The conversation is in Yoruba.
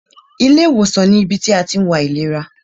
Ilé ìwòsàn ní ibi tí a tí ń wo àìlera.